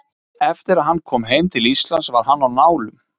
Eftir að hann kom heim til Íslands var hann á nálum.